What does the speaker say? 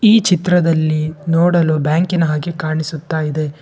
ಈ ಚಿತ್ರದಲ್ಲಿ ನೋಡಲು ಬ್ಯಾಂಕಿನ ಹಾಕಿ ಕಾಣಿಸುತ್ತಾ ಇದೆ.